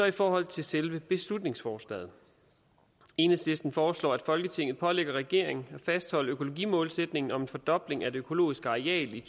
i forhold til selve beslutningsforslaget enhedslisten foreslår at folketinget pålægger regeringen at fastholde økologimålsætningen om en fordobling af det økologiske areal i